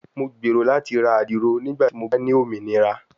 Mo gbero lati ra adiro nigbati mo ba ni ominira